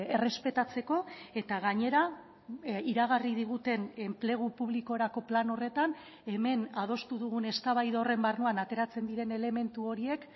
errespetatzeko eta gainera iragarri diguten enplegu publikorako plan horretan hemen adostu dugun eztabaida horren barruan ateratzen diren elementu horiek